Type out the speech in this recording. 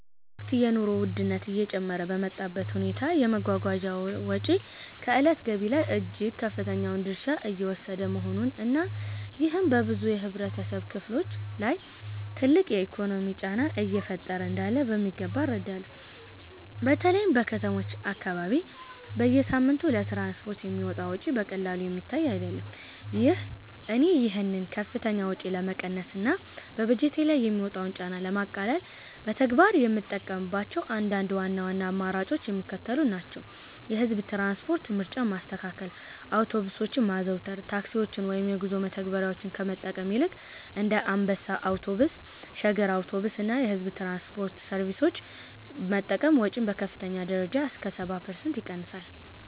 በአሁኑ ወቅት የኑሮ ውድነቱ እየጨመረ በመጣበት ሁኔታ፣ የመጓጓዣ ወጪ ከዕለታዊ ገቢ ላይ እጅግ ከፍተኛውን ድርሻ እየወሰደ መሆኑን እና ይሄም በብዙ የህብረተሰብ ክፍሎች ላይ ትልቅ የኢኮኖሚ ጫና እየፈጠረ እንዳለ በሚገባ እረዳለሁ። በተለይም በከተሞች አካባቢ በየሳምንቱ ለትራንስፖርት የሚወጣው ወጪ በቀላሉ የሚታይ አይደለም። እኔ ይህንን ከፍተኛ ወጪ ለመቀነስ እና በበጀቴ ላይ የሚመጣውን ጫና ለማቃለል በተግባር የምጠቀምባቸው አንዳንድ ዋና ዋና አማራጮች የሚከተሉት ናቸው፦ የህዝብ ትራንስፖርት ምርጫን ማስተካከል አውቶቡሶችን ማዘውተር፦ ታክሲዎችን ወይም የጉዞ መተግበሪያዎችን ከመጠቀም ይልቅ እንደ አንበሳ አውቶቡስ፣ ሸገር አውቶቡስ እና የሕዝብ ትራንስፖርት ሰርቪሶችን መጠቀም ወጪን በከፍተኛ ደረጃ እስከ 70% ይቀንሳል።